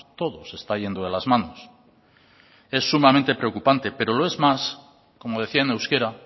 todo se está yendo de las manos es sumamente preocupante pero lo es más como decía en euskera